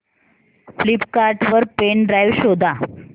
Flipkart वर pen drive शोधा